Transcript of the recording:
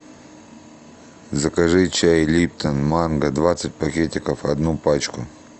закажи чай липтон манго двадцать пакетиков одну пачку